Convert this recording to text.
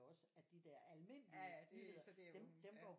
Også at de der almindelige nyheder dem dem går